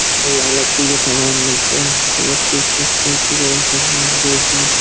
अरे यहाँ लकड़ी का सामान मिलता है। लकड़ी का सामान जो भी --